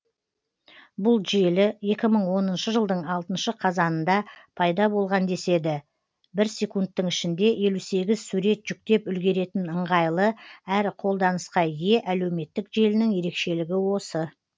бұл желі екі мың оныншы жылдың алтыншы қазанында пайда болған деседі бір секундтың ішінде елу сегіз сурет жүктеп үлгеретін ыңғайлы әрі қолданысқа ие әлеуметтік желінің ерекшелігі осы